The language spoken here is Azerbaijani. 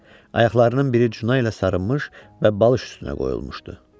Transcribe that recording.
Ayaqlarının birini cuna ilə sarıb balış üstünə qoyulmuşdu.